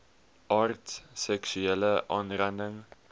aard seksuele aanranding